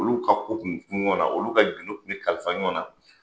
Olu ka kun bɛ kun ɲɔgɔnna, olu ka gindo kun bɛ kalifa ɲɔgɔnna.